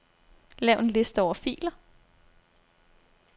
Lav en liste over filer.